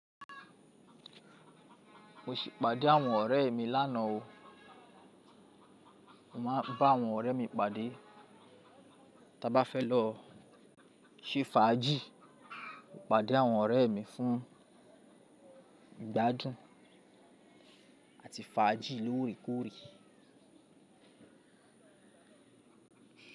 Mo si pàdé àwọn ọ̀rẹ́ mi lánàá o. Mo wa ba awon orè mi pàdé. Tí a bá fẹ́ lọ se fàájì, mo pàdé àwọn ọ̀rẹ́ mi fún ìgbádùn àti fàájì lóòrèkóòrè.